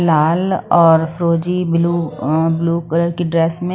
लाल और फिरोजी blue um blue colour की ड्रेस में--